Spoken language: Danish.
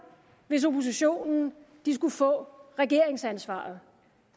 hvis oppositionen skulle få regeringsansvaret